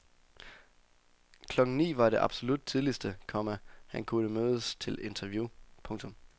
Klokken ni var det absolut tidligste, komma han kunne mødes til et interview. punktum